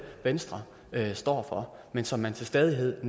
venstre står for men som man til stadighed